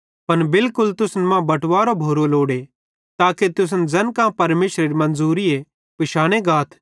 पन बिलकुल तुसन मां बटवारो भोरो लोड़े ताके तुसन ज़ैन कां परमेशरेरी मन्ज़ूरीए पिशाने गाथ